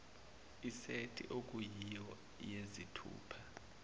isethi okuyiyo yezithupha